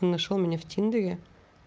нашёл меня в тиндере